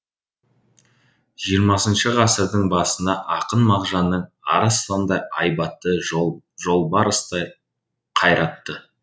жиырмасыншы ғасырдың басында ақын мағжанның арыстандай айбатты жолбарыстай қайратты